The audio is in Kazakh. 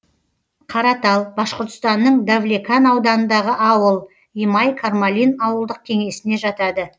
каратал башқұртстанның давлекан ауданындағы ауыл имай кармалин ауылдық кеңесіне жатады